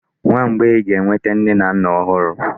Nwa mgbei ga-enwete nne na nna ọhụrụ.